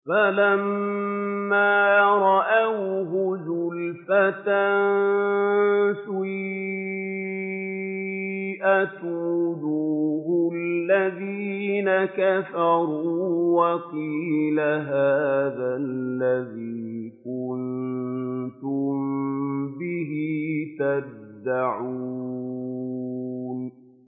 فَلَمَّا رَأَوْهُ زُلْفَةً سِيئَتْ وُجُوهُ الَّذِينَ كَفَرُوا وَقِيلَ هَٰذَا الَّذِي كُنتُم بِهِ تَدَّعُونَ